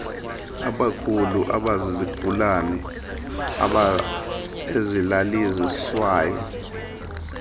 abakhulu abazizigulane ezilaliswayo